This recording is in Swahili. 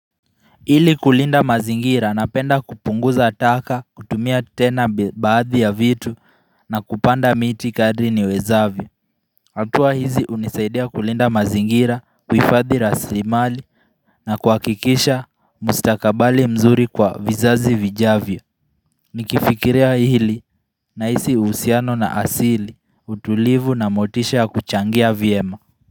Ili kulinda mazingira, napenda kupunguza taka, kutumia tena baadhi ya vitu na kupanda miti kadri niwezavyo hatua hizi hunisaidia kulinda mazingira kuhifadhi raslimali na kuhakikisha mustakabali mzuri kwa vizazi vijavyo Nikifikiria hili, na hisi uhusiano na asili, utulivu, na motisha kuchangia vyema.